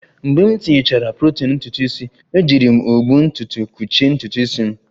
Mgbe m tinyechara protein ntutu isi, ejiri m ụgbụ ntutu kpuchie ntutu isi m